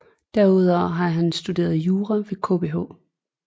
Derudover har han studeret jura ved Kbh